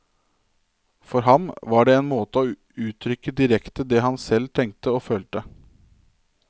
For ham var det en måte å uttrykke direkte det han selv tenkte og følte.